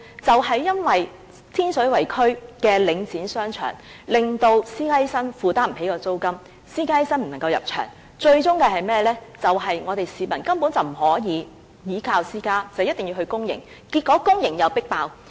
便是因為在天水圍區內，領展的商場令私家醫生負擔不起租金，私家醫生不能入場，最終是市民根本不能依賴私營醫療，必須到公營醫療機構求診，結果公營醫療機構又"迫爆"。